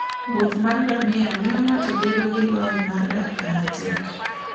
wuoth mar ngamia miyo ng'ato bedo gi lony mar dak kama tek.